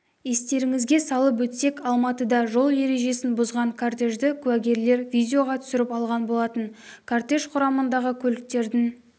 естеріңізге салып өтсек алматыда жол ережесін бұзған кортежді куәгерлер видеоға түсіріп алған болатын кортеж құрамындағы көліктердің